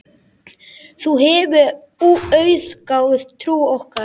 Þú hefur auðgað trú okkar.